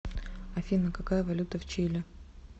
афина какая валюта в чили